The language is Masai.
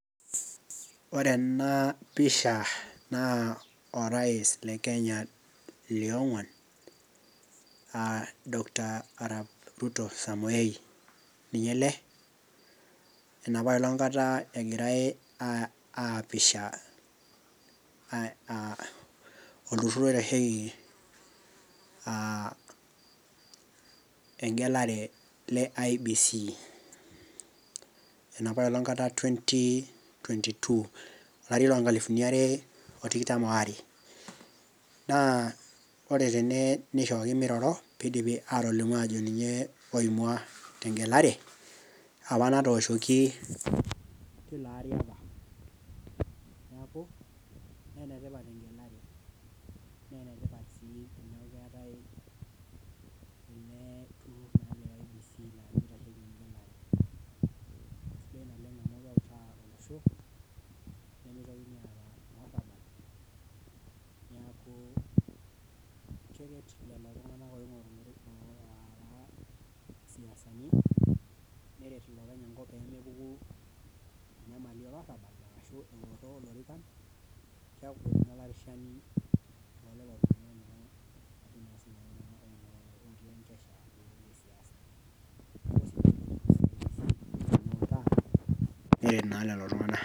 Ore ena pisha naa orais le Kenya lionguan aa Dr arap ruto samoei. ninye ele egirae aapisha, olturur oitasheki aa egelare le IEBC.enapaelong kata twenty twenty two olari loo nkalifuni are o tikitam waare. naa ore tene nishooki miroro pee idipi aatolimu ajo ninye loimua te gelare, apa natooshoki